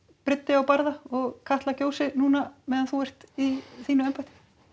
á barða og Katla gjósi núna meðan þú ert í þínu embætti